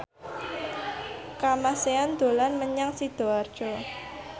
Kamasean dolan menyang Sidoarjo